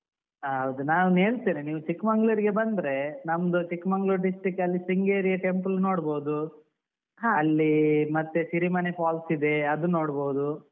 ಹಹೌದು ನಾನು ಹೇಳ್ತೇನೆ ನೀವು ಚಿಕ್ಮಂಗ್ಳೂರ್ ಗೆ ಬಂದ್ರೆ, ನಮ್ದು Chikkamagaluru district ಅಲ್ಲಿ ಶೃಂಗೇರಿ ಯ temple ನೋಡ್ಬೋದು.